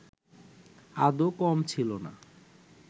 আদৌ কম ছিল না